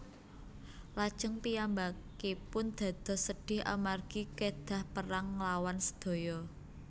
Lajeng piyambakipun dados sedhih amargi kedhah perang nglawan sedaya